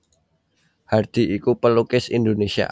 Hardi iku pelukis Indonesia